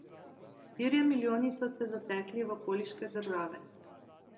Štirje milijoni so se zatekli v okoliške države.